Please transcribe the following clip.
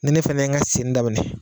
Ni ne fɛnɛ ŋa senni daminɛ